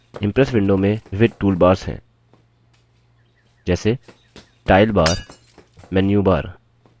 Impress window में विविध toolbars हैं जैसे– टाइटल बार मेन्यू बार